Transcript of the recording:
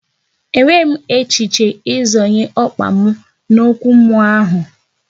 E nweghị m echiche ị zonye ọkpa m n'okwu mmụọ ahụ